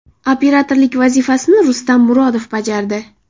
Operatorlik vazifasini Rustam Murodov bajardi.